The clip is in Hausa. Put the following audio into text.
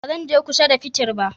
Ba zan je kusa da fetir ba